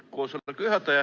Lugupeetud juhataja!